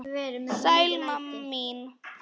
Sæl mamma mín.